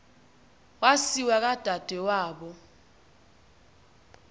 wasiwa kwadade wabo